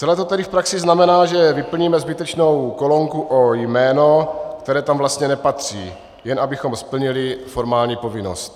Celé to tedy v praxi znamená, že vyplníme zbytečnou kolonku o jméno, které tam vlastně nepatří, jen abychom splnili formální povinnost.